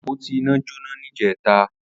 Apótí iná jónà nijẹ̀tá